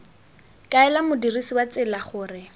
kaela modirsi wa tsela gore